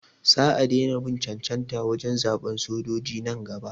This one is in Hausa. Sa a daina bin cancanta wurin zaɓan sojoji nan gaba.